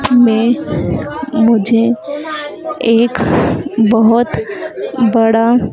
हमे मुझे एक बहोत बड़ा--